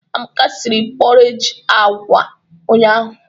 Amaka sịrị pọreji agwa ụnyahụ.